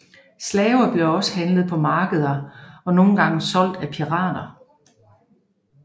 Slaver blev også handlet på markeder og nogle gange solgt af pirater